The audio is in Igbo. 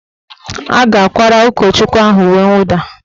A ga-akwara ụkọchukwu ahụ uwe nwụda